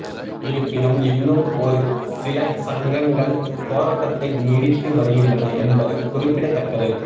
இருப்பினும் இன்னும் ஒரு சில சங்கங்கள் போராட்டத்தை நீடித்து வருகின்றன என்பது குறிப்பிடத்தக்கது